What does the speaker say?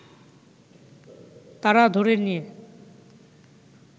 তারা ধরে নিয়ে